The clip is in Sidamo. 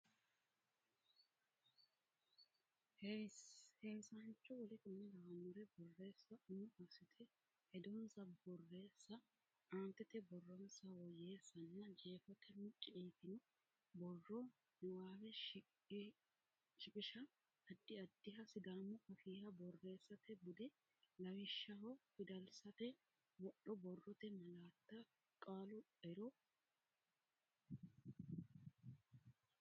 heewisaanacho w k l borreessa Umo assite hedonsa borreessa aantete borronsa woyyeessanna jeefote mucci yitino borro niwaawe shiqisha Addi addiha Sidaamu Afiiha borreessate bude lawishshaho fidalsate wodho borrote malaatta qaalu ero.